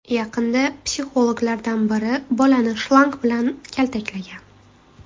Yaqinda psixologlardan biri bolani shlang bilan kaltaklagan.